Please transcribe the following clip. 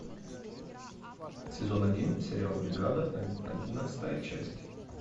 сезон один сериал бригада одиннадцатая часть